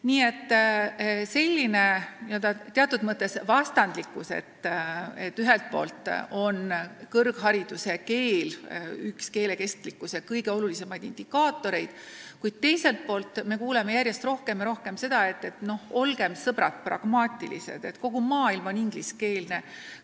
Nii et valitseb selline teatud mõttes vastandlikkus: ühelt poolt on kõrghariduse keeleks olemine üks keele kestlikkuse kõige olulisemaid indikaatoreid, kuid teiselt poolt kuuleme järjest rohkem ja rohkem seda, et olgem, sõbrad, pragmaatilised, kogu maailm on ingliskeelne.